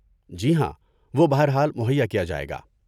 جی ہاں، وہ بہر حال مہیا کیا جائے گا۔